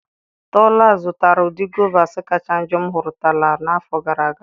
Tola zụtara ụdị guavas kacha njọ m hụtụrụla n'afọ gara aga.